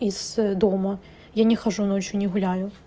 из дома я не хожу ночью не гуляю